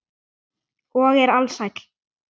Og er alsæll.